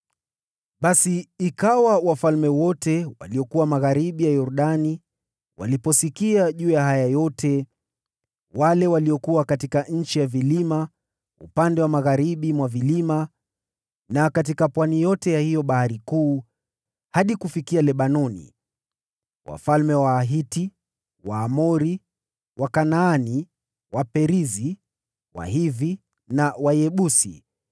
Basi ikawa wafalme wote waliokuwa magharibi mwa Yordani waliposikia juu ya haya yote, wale waliokuwa katika nchi ya vilima, upande wa magharibi mwa vilima na katika pwani yote ya hiyo Bahari Kuu, hadi kufikia Lebanoni (wafalme wa Wahiti, Waamori, Wakanaani, Waperizi, Wahivi na Wayebusi),